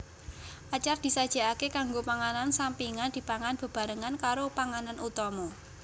Acar disajikake kanggo panganan sampingan dipangan bebarengan karo panganan utama